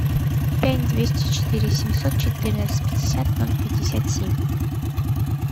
пять двести четыре семьсот четырнадцать пятьдесят ноль пятьдесят семь